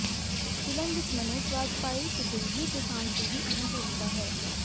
film ਵਿਚ ਮਨੋਜ ਵਾਜਪਾਈ ਤੇ ਦਿਲਜੀਤ ਦੋਸਾਂਝ ਦੀ ਵੀ ਅਹਿਮ ਭੂਮਿਕਾ ਹੈ